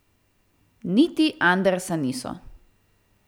Niti Andersa niso.